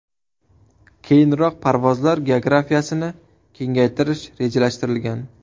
Keyinroq parvozlar geografiyasini kengaytirish rejalashtirilgan.